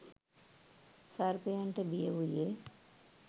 සර්පයන්ට බිය වූයේ